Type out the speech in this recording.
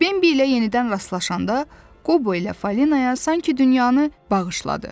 Bimbi ilə yenidən rastlaşanda Qobo ilə Falinaya sanki dünyanı bağışladı.